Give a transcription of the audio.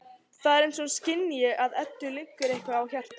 Það er eins og hún skynji að Eddu liggur eitthvað á hjarta.